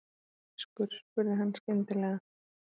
Ertu þýskur? spurði hann skyndilega.